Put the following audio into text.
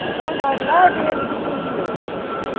Aí de onde eu olho, lá vem ele subindo de novo.